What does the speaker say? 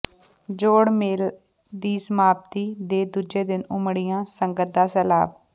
ਜੋੜ ਮੇਲ ਦੀ ਸਮਾਪਤੀ ਦੇ ਦੂਜੇ ਦਿਨ ਉਮੜਿਆਂ ਸੰਗਤ ਦਾ ਸੈਲਾਬ